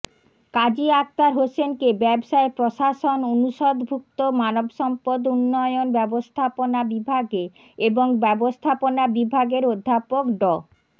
কাজী আখতার হোসেনকে ব্যবসায় প্রশাসন অনুষদভুক্ত মানবসম্পদ উন্নয়ন ব্যবস্থাপনা বিভাগে এবং ব্যবস্থাপনা বিভাগের অধ্যাপক ড